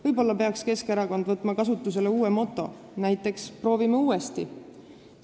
Võib-olla peaks Keskerakond võtma kasutusele uue moto, näiteks "Proovime uuesti!".